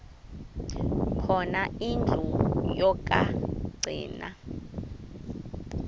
khona indlu yokagcina